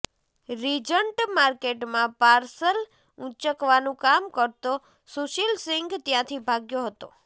Regent માર્કેટમાં parcel ઉંચકવાનું કામ કરતો સુશીલસિંઘ ત્યાંથી ભાગ્યો હતો